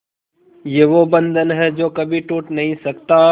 ये वो बंधन है जो कभी टूट नही सकता